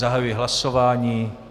Zahajuji hlasování.